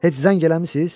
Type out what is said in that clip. Heç zəng eləmisiz?